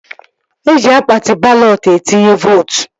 Eji akpati balọt etinye vootu